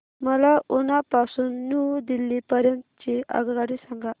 मला उना पासून न्यू दिल्ली पर्यंत ची आगगाडी सांगा